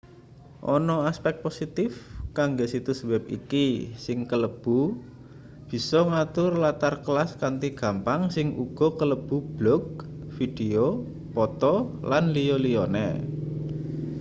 ana aspek positif kanggo situs web iki sing kalebu bisa ngatur latar kelas kanthi gampang sing uga kalebu blog video poto lan liya-liyane